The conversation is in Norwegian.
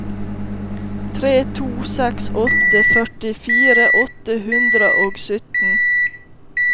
tre to seks åtte førtifire åtte hundre og sytten